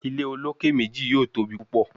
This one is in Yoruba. Ile oloke meji yoo tobi pupọ